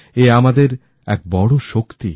এ আমাদের এক বড় শক্তি